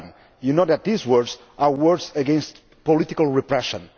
You know that these words are words against political repression.